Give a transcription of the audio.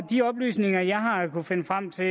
de oplysninger jeg har kunnet finde frem til